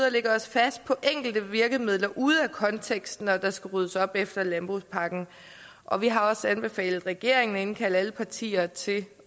at lægge os fast på enkelte virkemidler ude af kontekst når der skal ryddes op efter landbrugspakken og vi har også anbefalet regeringen at indkalde alle partier til